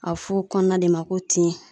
A be f'o kɔnɔna de ma ko tin.